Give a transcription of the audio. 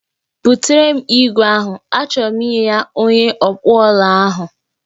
Butere m igwe ahụ, achọro m inye ya onye ọkpụọla ahụ